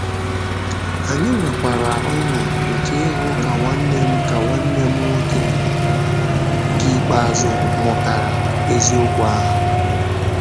Anyị nwekwara ọ̀ṅụ̀ nke ịhụ ka nwanne m ka nwanne m nwoke nke ikpeazụ mụtara eziokwu ahụ.